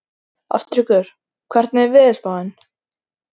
Ástríkur, hvernig er veðurspáin?